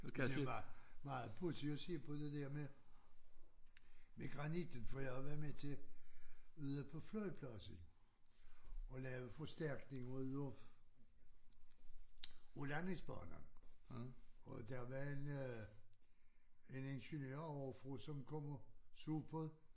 Det er bare meget pudsigt at se på det der med med granitten for jeg har været med til ude på flyvepladsen at lave forstærkning ud af af landingsbanen og der var en øh en ingeniør ovrefra som kom og så på det